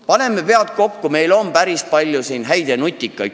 Paneme pead kokku, siin saalis on päris palju häid ja nutikaid inimesi!